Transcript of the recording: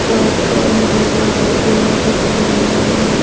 सड़क पर हरे भरे पेड़ दिख रहे हैं।